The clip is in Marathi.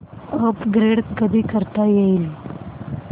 अपग्रेड कधी करता येईल